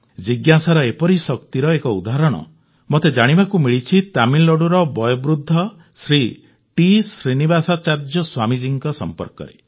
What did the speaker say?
ଜିଜ୍ଞାସାର ଏପରି ଶକ୍ତିର ଏକ ଉଦାହରଣ ମୋତେ ଜାଣିବାକୁ ମିଳିଛି ତାମିଲନାଡୁର ବୟୋବୃଦ୍ଧ ଶ୍ରୀ ଟି ଶ୍ରୀନିବାସାଚାର୍ଯ୍ୟ ସ୍ୱାମୀଜୀଙ୍କ ସମ୍ପର୍କରେ